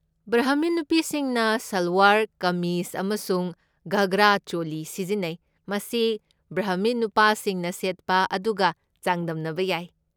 Brahmin ꯅꯨꯄꯤꯁꯤꯡꯅ ꯁꯜꯋꯥꯔ ꯀꯃꯤꯖ ꯑꯃꯁꯨꯡ ꯘꯒ꯭ꯔꯥ ꯆꯣꯂꯤ ꯁꯤꯖꯤꯟꯅꯩ, ꯃꯁꯤ ꯕ꯭ꯔꯥꯍꯃꯤꯟ ꯅꯨꯄꯥꯁꯤꯡꯅ ꯁꯦꯠꯄ ꯑꯗꯨꯒ ꯆꯥꯡꯗꯝꯅꯕ ꯌꯥꯏ꯫